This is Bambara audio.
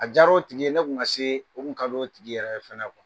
A jara o tigi ye ne tun ka se o kun d'o don tigi yɛrɛ ye fana